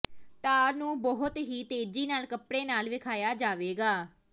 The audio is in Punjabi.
ਟਾਰ ਨੂੰ ਬਹੁਤ ਹੀ ਤੇਜ਼ੀ ਨਾਲ ਕੱਪੜੇ ਨਾਲ ਵੇਖਾਇਆ ਜਾਵੇਗਾ